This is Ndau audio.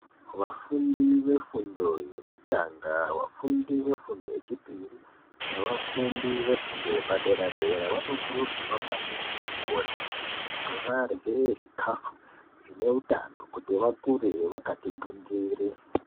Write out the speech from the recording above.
Vafundi vefundo yokutanga, vafundi vefundo yechipiri nevafundi vefundo vefundo yepadera dera vanokurudzirwa kuti varye zvikafu zvine utano kuti vakure vakati gwindiri.